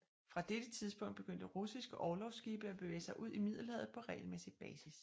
Fra dette tidspunkt begyndte russiske orlogsskibe at bevæge sig ud i Middelhavet på regelmæssig basis